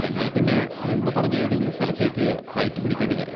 എന്നാൽ പിന്നെ മുമ്പ് പറഞ്ഞ ഏതെങ്കിലും സ്ഥലത്തേക്ക് ഫ്ലൈറ്റ് പിടിക്കേണ്ടിവരും.